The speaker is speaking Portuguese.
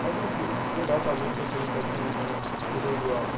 Mas, enfim, mas fui lá também, botei um pouquinho de de mão de obra.